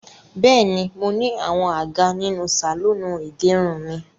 Bẹ́ẹ̀ni, mo ní àwọn àga nínú sàlọ́ọ̀nù ìgẹrun mi.